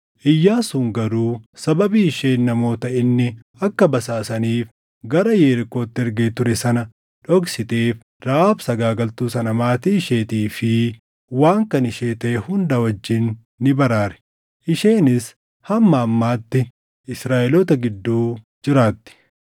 Iyyaasuun garuu sababii isheen namoota inni akka basaasaniif gara Yerikootti ergee ture sana dhoksiteef Rahaab sagaagaltuu sana maatii isheetii fi waan kan ishee taʼe hunda wajjin ni baraare; isheenis hamma ammaatti Israaʼeloota gidduu jiraatti.